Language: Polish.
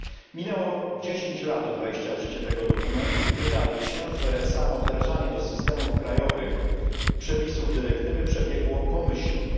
Minęło 10 lat od wejścia w życie tego dokumentu i wydaje się, że samo wdrażanie do systemów krajowych przepisów dyrektywy przebiegło pomyślnie.